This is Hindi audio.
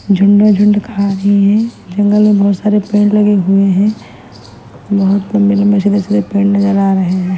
झुण्ड झुण्ड खा रही है जंगल में बहोत सारे पेड़ लगे हुए है बहोत लम्बे लम्बे सीधे सीधे पेड़ नजर आ रहे हैं।